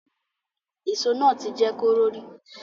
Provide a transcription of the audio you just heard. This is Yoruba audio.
Èso náà ti jẹ́ kóró rí